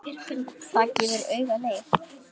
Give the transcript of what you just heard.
Það gefur auga leið.